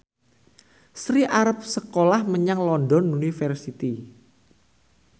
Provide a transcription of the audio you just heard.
Sri arep sekolah menyang London University